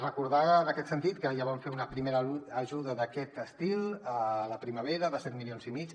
recordar en aquest sentit que ja vam fer una primera ajuda d’aquest estil a la primavera de set milions i mig